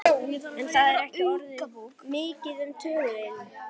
En það er ekki orðið mikið um töðuilm.